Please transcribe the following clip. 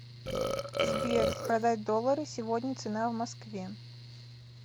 сбер продать доллары сегодня цена в москве